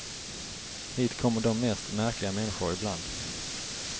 Hit kommer de mest märkliga människor ibland.